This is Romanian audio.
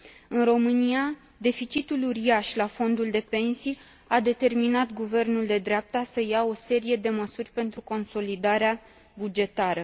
În România, deficitul uriaș la fondul de pensii a determinat guvernul de dreapta să ia o serie de măsuri pentru consolidarea bugetară.